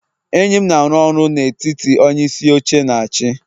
enyi m na-arụ ọrụ na etiti onyeisi oche na achi